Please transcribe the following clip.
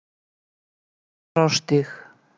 Rauðarárstíg